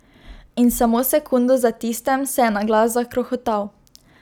In samo sekundo za tistem se je na glas zakrohotal.